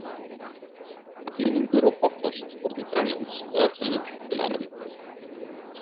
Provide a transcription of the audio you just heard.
Píningur og Pothorst fóru til Grænlands og ef til vill til Ameríku.